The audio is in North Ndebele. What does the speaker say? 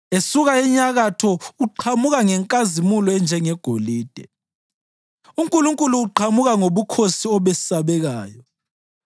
Esuka enyakatho uqhamuka ngenkazimulo enjengegolide; uNkulunkulu uqhamuka ngobukhosi obesabekayo.